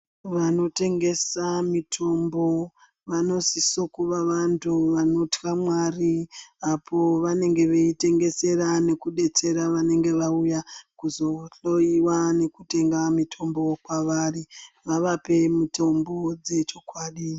Vano tengesa mitombo vanosiso kuva vantu vanotya Mwari apo vanenge vei tengesera neku detsera vanenge vauya kuzo hloyiwa nekutenga mitombo kwavari vavape mutombo dze chokwadi.